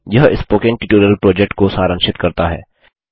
यह spoken tutorial project को सारांशित करता है